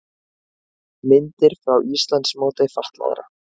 Myndir frá Íslandsmóti fatlaðra